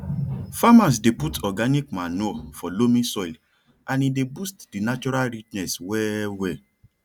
farmers dey put organic manure for loamy soil and e dey boost di natural richness well well